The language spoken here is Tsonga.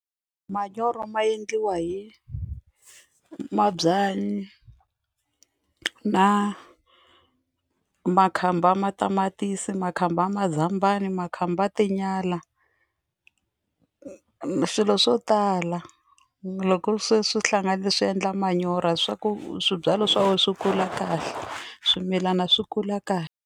Manyoro ma endliwa hi mabyanyi na makhamba ya matamatisi makhamba ya mazambani makhamba ya tinyala swilo swo tala loko se swi hlanganile swi endla manyoro swa ku swibyalwa swa wena swi kula kahle swimilana swi kula ka.